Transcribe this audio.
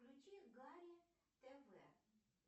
включи гарри тв